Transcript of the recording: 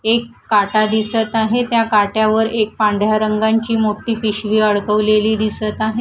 एक काटा दिसत आहे त्या काट्यावर एक पांढरा रंगांची मोठी पिशवी अडकवलेली दिसत आहे.